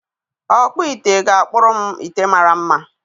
Ọkpụ ite ga-akpụrụ m ite mara mma.